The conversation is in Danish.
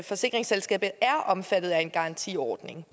forsikringsselskabet er omfattet af en garantiordning